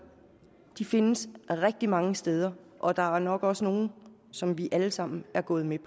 findes rigtig mange steder og der er nok også nogle som vi alle sammen er gået med